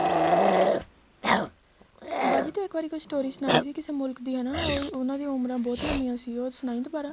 ਬਾਜੀ ਤੂੰ ਇੱਕ ਵਾਰੀ story ਸੁਣਾਈ ਸੀ ਕਿਸੇ ਮੁਲਕ ਦੇ ਹਨਾ ਉਹਨਾ ਦੀਆ ਉਮਰਾਂ ਬਹੁਤ ਲੰਬੀਆਂ ਸੀ ਉਹ ਸੁਣਾਈ ਦੁਬਾਰਾ